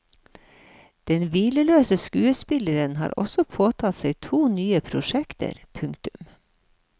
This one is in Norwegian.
Den hvileløse skuespillerinnen har også påtatt seg to nye prosjekter. punktum